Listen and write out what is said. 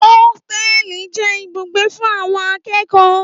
Ótẹlì jẹ ìbúgbẹ fún awon àkẹkọ.